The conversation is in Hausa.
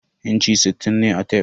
Inchi sittin ne a tef.